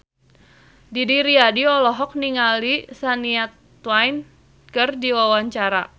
Didi Riyadi olohok ningali Shania Twain keur diwawancara